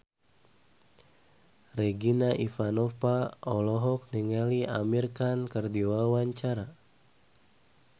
Regina Ivanova olohok ningali Amir Khan keur diwawancara